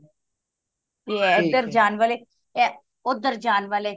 ਤੇ ਇਹ ਏਧਰ ਜਾਨ ਵਾਲੇ ਤੇ ਇਹ ਓਦਰ ਜਾਨ ਵਾਲੇ